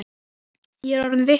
Ég er orðin vitlaus